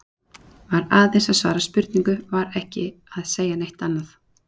Var aðeins að svara spurningu, var ekki að segja neitt annað.